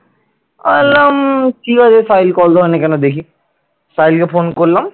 সাহিল কে phone করলাম।